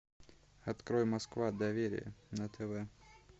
открой москва доверие на тв